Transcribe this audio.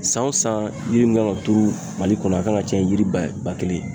San wo san yiri mun kan ka turu mali kɔnɔ, a kan ka caya yiri ba kelen ye.